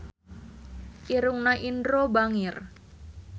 Irungna Indro bangir